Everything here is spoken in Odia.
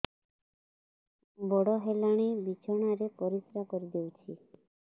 ବଡ଼ ହେଲାଣି ବିଛଣା ରେ ପରିସ୍ରା କରିଦେଉଛି